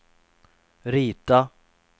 rita